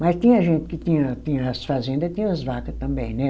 Mas tinha gente que tinha tinha as fazenda, tinha as vaca também, né?